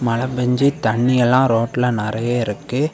மழ பெஞ்சி தண்ணியெல்லாம் ரோட்ல நெறய இருக்கு.